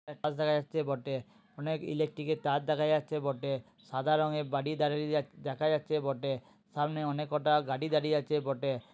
গাছ দেখা যাচ্ছে বটে। অনেক ইলেকট্রিকের তার দেখা যাচ্ছে বটে। সাদা রংয়ের বাড়ি দাড়িয়ে দেখা যাচ্ছে বটে। সামনে অনেক কটা গাড়ি দাঁড়িয়ে আছে বটে।